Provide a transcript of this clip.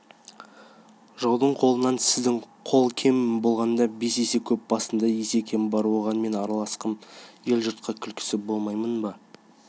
жаудың қолынан сіздің қол кем болғанда бес есе көп басында есекем бар оған мен аралассам ел-жұртқа күлкі болмаймын ба